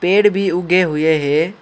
पेड़ भी उगे हुए है।